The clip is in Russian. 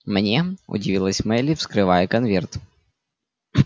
мне удивилась мелли вскрывая конверт